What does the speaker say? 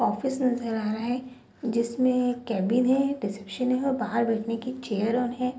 Office नजर आ रहा है जिसमे कैबिन है रिसेप्शन है और बाहर बैठने की चेयर और है।